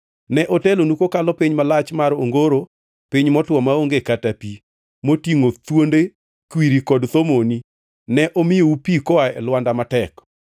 Ne otelonu kokalo piny malach mar ongoro piny motwo maonge kata pi, motingʼo thuonde kwiri kod thomoni, ne omiyou pi koa e lwanda matek.